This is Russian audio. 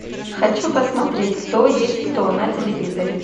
хочу посмотреть кто есть кто на телевизоре